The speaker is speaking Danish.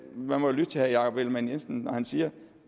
man må jo lytte til herre jakob ellemann jensen når han siger at